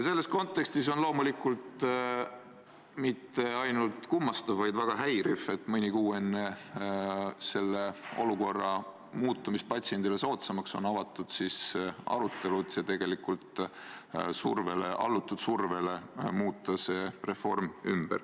Selles kontekstis on loomulikult mitte ainult kummastav, vaid väga häiriv, et mõni kuu enne selle olukorra muutumist patsiendile soodsamaks on avatud arutelu, et survele alludes seda reformi muuta.